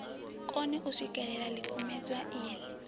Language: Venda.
kone u swikelela ḽikumedzwa iḽi